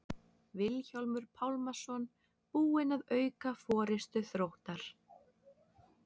Vilhjálmur Pálmason búinn að auka forystu Þróttar.